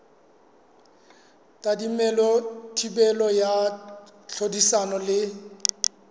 tadimilwe thibelo ya tlhodisano le